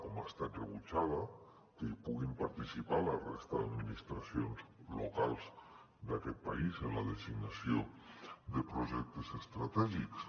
com ha estat rebutjada que hi puguin participar la resta d’administracions locals d’aquest país en la designació de projectes estratègics